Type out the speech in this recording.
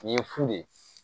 Nin ye fu de ye